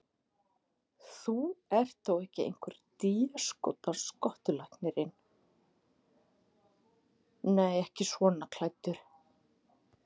Þú ert þó ekki einhver déskotans skottulæknirinn. nei, ekki svona klæddur.